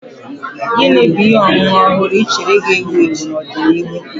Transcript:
Gini bu ihe ọṅụṅụ ọhụrụ ị chere ga-ewu ewu n'ọdịnihu?